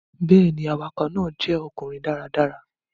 Bẹ́ẹ̀ ni, awakọ̀ náà jẹ́ ọkùnrin dáradára.